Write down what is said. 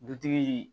Dutigi